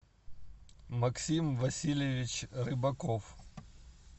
максим васильевич рыбаков